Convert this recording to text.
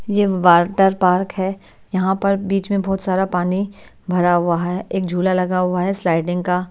यह water park है यहाँ पर बीच में बहुत सारा पानी भरा हुआ है एक झूला लगा हुआ है स्लाइडिंग का।